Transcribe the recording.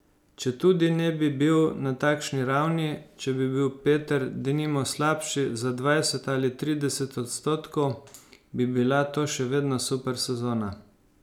Četudi ne bi bil na takšni ravni, če bi bil Peter denimo slabši za dvajset ali trideset odstotkov, bi bila to še vedno super sezona.